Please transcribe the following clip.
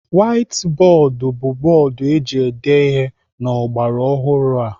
Waiti bọọdụ bụ bọọdụ eji ede ihe n'ọgbaraọhụrụ a.